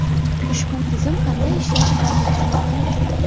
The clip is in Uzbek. Ushbu tizim qanday ishlashi hozircha noma’lum.